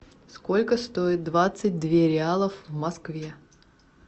сколько стоит двадцать две реалов в москве